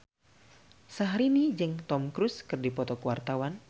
Syahrini jeung Tom Cruise keur dipoto ku wartawan